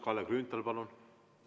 Kalle Grünthal, palun!